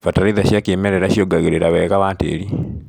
Bataraitha cia kĩmerera ciongagĩrĩra wega wa tĩri.